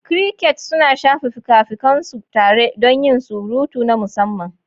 Crickets suna shafa fikafikan su tare don yin surutu na musamman.